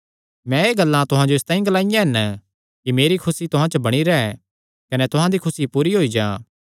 मैं एह़ गल्लां तुहां नैं इसतांई ग्लांईयां हन कि मेरी खुसी तुहां च बणी रैंह् कने तुहां दी खुसी पूरी होई जां